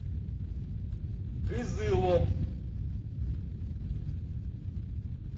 кызылом